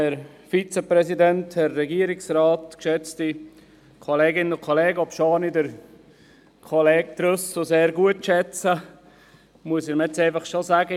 Obschon ich Kollege Trüssel sehr schätze, muss ich ihm jetzt schon sagen: